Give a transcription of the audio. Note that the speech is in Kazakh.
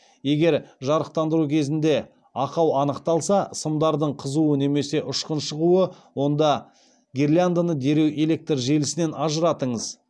егер жарықтандыру кезінде ақау анықталса онда гирляндыны дереу электр желісінен ажыратыңыз